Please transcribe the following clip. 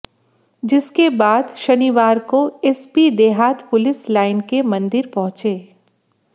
जिसके बाद शनिवार को एसपी देहात पुलिस लाइन के मंदिर पहुंचे